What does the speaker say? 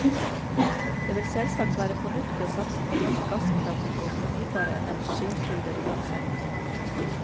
Det vil selvsagt være fornuftig å satse på norsk gasskraft og fornybare energikilder uansett.